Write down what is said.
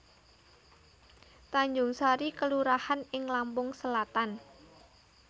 Tanjungsari kelurahan ing Lampung Selatan